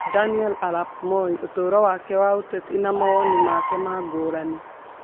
Daniel Arap Moi: Ũtũũro wake wa ũteti na mawoni make ma ngũrani